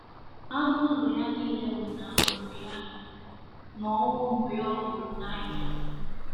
Anụ ụlọ ya nile nwụnahụrụ ya, na ọnwụ ụmụ ya ọ hụrụ n’anya.